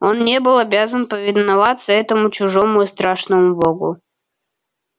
он не был обязан повиноваться этому чужому и страшному богу